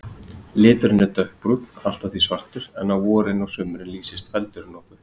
Liturinn er dökkbrúnn, allt að því svartur, en á vorin og sumrin lýsist feldurinn nokkuð.